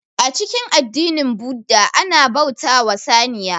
A cikin addinin budda ana bauta wa saniya